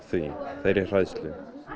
þeirri hræðslu